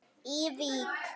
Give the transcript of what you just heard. í Vík.